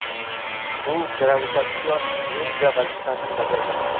U gravitatsion linza vazifasini bajargan.